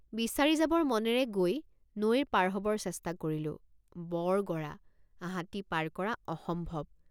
বিচাৰি যাবৰ মনেৰে গৈ নৈ পাৰ হবৰ চেষ্টা কৰিলোঁ বৰ গৰা হাতী পাৰ কৰা অসম্ভৱ।